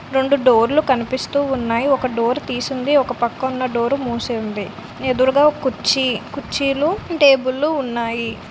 రెండు డోర్ లు కనిపిస్తూ ఉన్నాయి. ఒక డోర్ తీసి ఉంది. ఇంక పక్క ఉన్న డోర్ రు మూసి ఉంది. ఎదురు గా ఒక్ కూర్చి కూర్చి లు టేబల్ లు ఉన్నాయి.